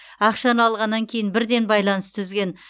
ақшаны алғаннан кейін бірден байланысты үзген